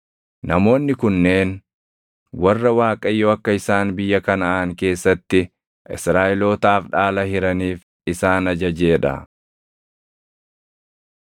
Namoonni kunneen warra Waaqayyo akka isaan biyya Kanaʼaan keessatti Israaʼelootaaf dhaala hiraniif isaan ajajee dha.